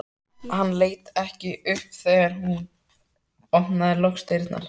Hann leit ekki upp þegar hún opnaði loks dyrnar.